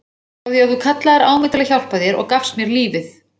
Frá því að þú kallaðir á mig til að hjálpa þér og gafst mér lífið.